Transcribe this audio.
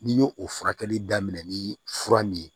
N'i y'o o furakɛli daminɛ ni fura min ye